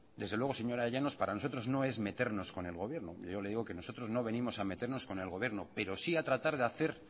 desde luego señora llanos para nosotros no es meternos con el gobierno yo le digo que nosotros no venimos a meternos con el gobierno pero sí a tratar de hacer